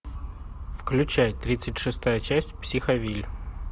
включай тридцать шестая часть психовилль